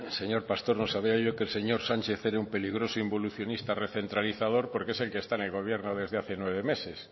señor pastor no sabía yo que el señor sánchez era un peligroso involucionista recentralizador porque es el que está en el gobierno desde hace nueve meses